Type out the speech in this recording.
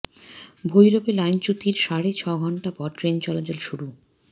ভৈরবে লাইনচ্যুতির সাড়ে ছয় ঘণ্টা পর ট্রেন চলাচল শুরু